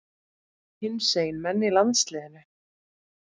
Hinsegin menn í landsliðinu?